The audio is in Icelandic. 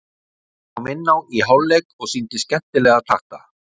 Hann kom inná í hálfleik og sýndi skemmtilega takta.